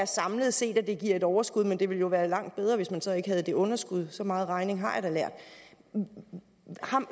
samlet set giver et overskud men det ville jo være langt bedre hvis man så ikke havde det underskud så meget regning har jeg da lært